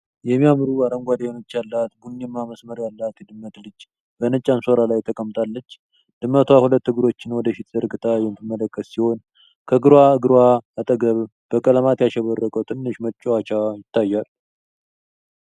የሚያማምሩ አረንጓዴ አይኖች ያላት ቡኒማ መስመር ያላት የድመት ልጅ በነጭ አንሶላ ላይ ተቀምጣለች። ድመቷ ሁለት እግሮቿን ወደፊት ዘርግታ የምትመለከት ሲሆን፣ ከግራ እግሯ አጠገብ በቀለማት ያሸበረቀች ትንሽ መጫወቻ ይታያል።